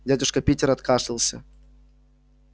дядюшка питер откашлялся